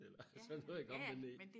eller sådan noget iggå men det